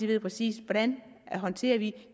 ved præcis hvordan de håndterer de